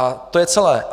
A to je celé.